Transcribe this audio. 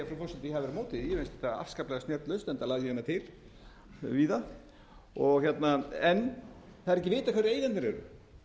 að ég hafi verið á móti því mér fannst þetta afskaplega snjöll lausn enda lagði ég hana til víða en það er ekki vitað hverjir eigendurnir eru